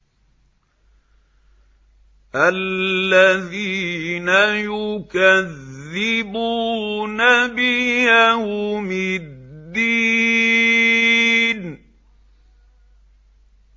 الَّذِينَ يُكَذِّبُونَ بِيَوْمِ الدِّينِ